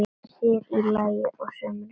Sér í lagi á sumrin.